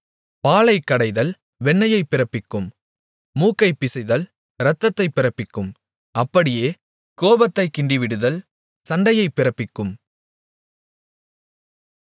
பாலைக் கடைதல் வெண்ணையைப் பிறப்பிக்கும் மூக்கைப் பிசைதல் இரத்தத்தைப் பிறப்பிக்கும் அப்படியே கோபத்தைக் கிண்டிவிடுதல் சண்டையைப் பிறப்பிக்கும்